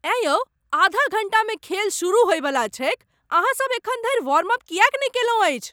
एँ यौ आधा घण्टामे खेल सुरु होइवला छैक। अहाँ सभ एखन धरि वार्मअप किएक नहि कयलहुँ अछि?